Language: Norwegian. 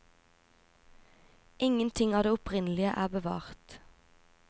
Ingenting av det opprinnelige er bevart.